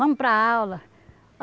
Vamos para aula.